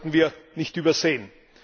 Das sollten wir nicht übersehen.